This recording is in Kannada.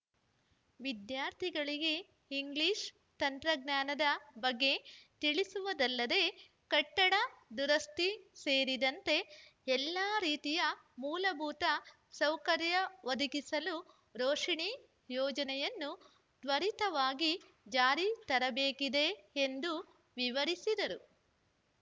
ವಿದ್ಯಾರ್ಥಿಗಳಿಗೆ ಇಂಗ್ಲಿಷ್‌ ತಂತ್ರಜ್ಞಾನದ ಬಗ್ಗೆ ತಿಳಿಸುವುದಲ್ಲದೆ ಕಟ್ಟಡ ದುರಸ್ತಿ ಸೇರಿದಂತೆ ಎಲ್ಲ ರೀತಿಯ ಮೂಲಭೂತ ಸೌಕರ್ಯ ಒದಗಿಸಲು ರೋಶಿನಿ ಯೋಜನೆಯನ್ನು ತ್ವರಿತವಾಗಿ ಜಾರಿ ತರಬೇಕಿದೆ ಎಂದು ವಿವರಿಸಿದರು